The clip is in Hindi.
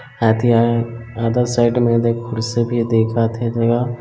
आधा साइड में येदे कुर्सी भी ह दिखत हे ये जगह --